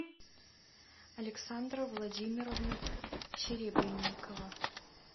александра владимировна серебренникова